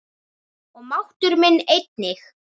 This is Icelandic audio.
Og máttur minn einnig.